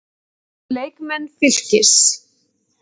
Leikmenn Fylkis